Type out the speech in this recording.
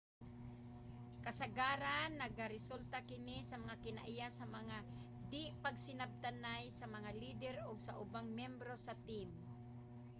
kasagaran nagaresulta kini nga kinaiya sa mga di-pagsinabtanay sa mga leader ug sa ubang miyembro sa team